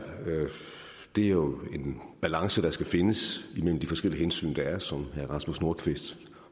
er jo en balance der skal findes imellem de forskellige hensyn der er som herre rasmus nordqvist